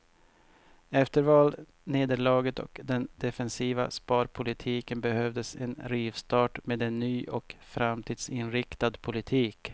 Efter valnederlaget och den defensiva sparpolitiken behövdes en rivstart med en ny och framtidsinriktad politik.